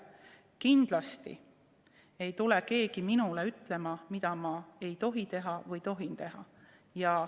Kindlasti ei tule keegi minule ütlema, mida ma ei tohi teha või tohin teha.